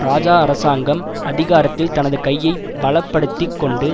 இராஜா அரசாங்கம் அதிகாரத்தில் தனது கையை பலப்படுத்திக் கொண்டு